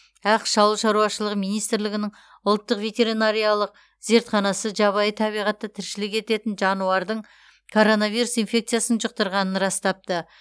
ақш ауыл шаруашылығы министрлігінің ұлттық ветеринариялық зертханасы жабайы табиғатта тіршілік ететін жануардың коронавирус инфекциясын жұқтырғанын растапты